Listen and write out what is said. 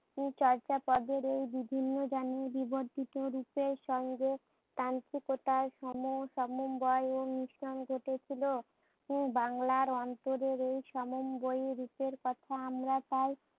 চর্যাপদের এই বিভিন্ন জানি বিবর্তিত পুরের সঙ্গে তান্ত্রিকতার সমসমন্বয় ঘতেছিল। উম বাংলার আন্তঃদের এই সমন্বয় রুপের কথা আমরা তায়